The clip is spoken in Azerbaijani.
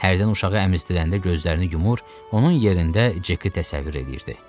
Hərdən uşağı əmizdirəndə gözlərini yumur, onun yerində Ceki təsəvvür edirdi.